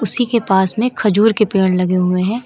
उसी के पास में खजूर के पेड़ लगे हुए हैं।